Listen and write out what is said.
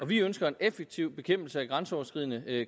vi ønsker en effektiv bekæmpelse af grænseoverskridende